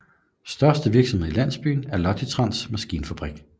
Største virksomhed i landsbyen er Logitrans maskinfabrik